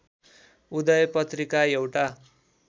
उदय पत्रिका एउटा